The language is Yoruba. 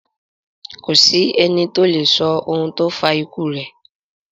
Kò sí ẹni to lè sọ ohun tó fa ikú rẹ̀.